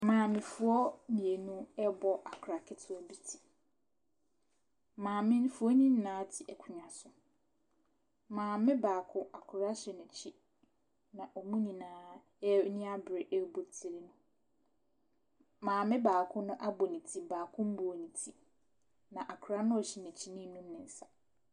Maamefoɔ mmienu rebɔ akwadaa ketewa bi ti. Maamefoɔ no nyinaa te akonnwa so. Maame baako, akwadaa hyɛ n'akyi, na wɔn nyinaa ani abere rebɔ tire no. maame baako no abɔ ne ti, baako mmɔɔ ne ti, na akwadaa no a ɔhyɛ n'akyi no renum ne nsa.